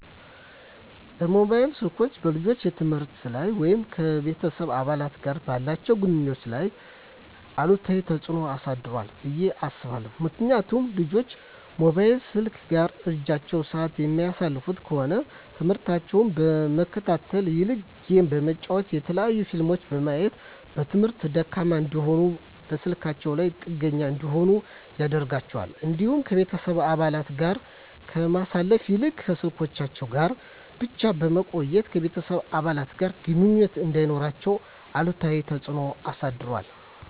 መሞባይል ስልኮች በልጆች የትምህርት ላይ ወይም ከቤተሰብ አባላት ጋር ባላቸው ግንኙነት ላይ አሉታዊ ተጽዕኖ አሳድሯል ብየ አስባለሁ። ምክንያቱም ልጆች ሞባይል ስልክ ጋር እረጅም ስዓት የሚያሳልፉ ከሆነ ትምህርሞታቸውን ከመከታተል ይልቅ ጌም በመጫወት የተለያዩ ፊልሞችን በማየት በትምህርታቸው ደካማ እንዲሆኑና በስልካቸው ላይ ጥገኛ እንዲሆኑ ያደርጋቸዋል። እንዲሁም ከቤተሰብ አባለት ጋር ከማሳለፍ ይልቅ ከስልኮቻቸው ጋር ብቻ በመቆየት ከቤተሰብ አባለት ጋር ግንኙነት እንዳይኖራቸው አሉታዊ ተፅዕኖ አሳድሯል።